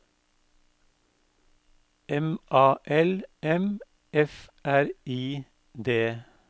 M A L M F R I D